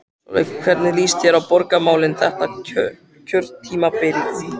Sólveig: Hvernig líst þér á borgarmálin þetta kjörtímabilið?